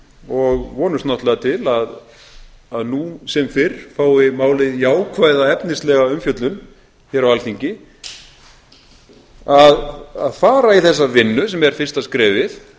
og vonumst náttúrlega til að nú sem fyrr fái málið jákvæða efnislega umfjöllun hér á alþingi að fara í þessa vinnu sem er fyrsta skrefið